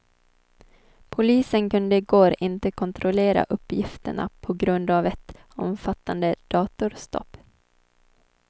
Polisen kunde i går inte kontrollera uppgifterna på grund av ett omfattande datorstopp.